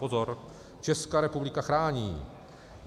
Pozor, Česká republika chrání.